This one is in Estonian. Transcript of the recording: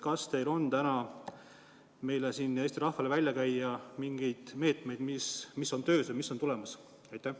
Kas teil on täna meile ja Eesti rahvale välja käia mingid meetmed, mis on töös või mis on tulemas?